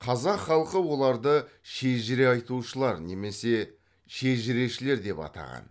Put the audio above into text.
қазақ халқы оларды шежіре айтушылар немесе шежірешілер деп атаған